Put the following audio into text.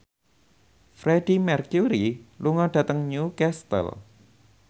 Freedie Mercury lunga dhateng Newcastle